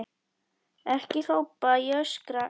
Ekki hrópa, ekki öskra!